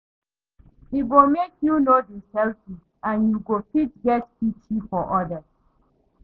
E go help you undastand wella how oda pipo struggle bi for dem